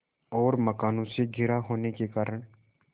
और मकानों से घिरा होने के कारण